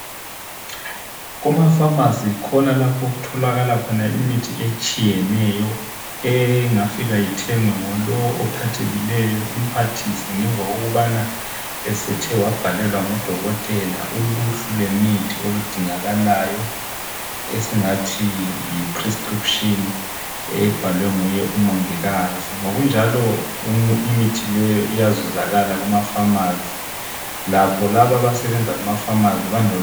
Kumapharmacy yikhona lapho okutholakala khona imithi etshiyeneyo engafika ithengwe ngulowo ophathekileyo imphathise ngemva kokubana esethe wabhalelwa ngudokotela uluhlu lwemithi oludingakalayo esingathi yiprescription ebhalwe nguye umongikazi. Kunjalo imithi leyo iyazuzakala kumapharmacy, lakho labo abasebenza kumaphamarcy balolwazi.